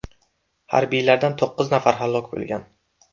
Harbiylardan to‘qqiz nafari halok bo‘lgan.